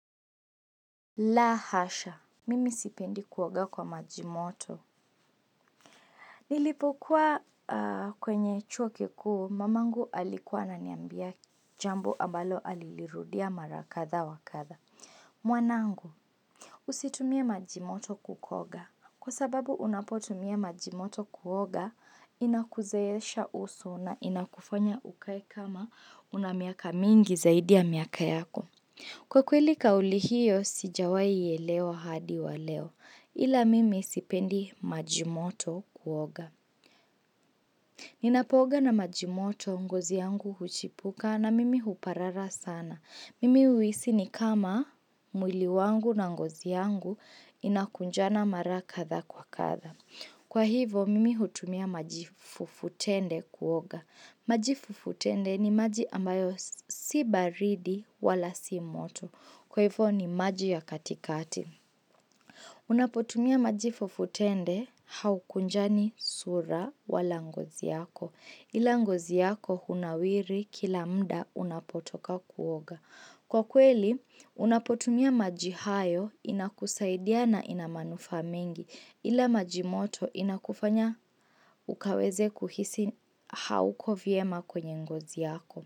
La hasha Mimi sipendi kuoga kwa majimoto nilipokuwa kwenye chuo kikuu mamangu alikuwa ana niambia Jambo ambalo alilirudia marakatha wakatha mwanangu Usitumie majimoto kukoga Kwa sababu unapotumia majimoto kuoga inakuzeesha uso na inakufanya ukae kama unamiaka mingi zaidi ya miaka yako Kwa kweli kauli hiyo sijawai elewa hadi wa leo ila mimi sipendi majimoto kuoga. Ninapooga na majimoto ngozi yangu huchipuka na mimi huparara sana. Mimi uhisi ni kama mwili wangu na ngozi yangu inakunjana mara katha kwa katha. Kwa hivo mimi hutumia majifufutende kuoga. Majifufutende ni maji ambayo si baridi wala si moto. Kwa hivyo ni maji ya katikati. Unapotumia majifufutende haukunjani sura wala ngozi yako. Ila ngozi yako hunawiri kila mda unapotoka kuoga. Kwa kweli, unapotumia majihayo inakusaidia na inamanufaa mengi. Ila majimoto inakufanya ukaweze kuhisi hauko vyema kwenye ngozi yako.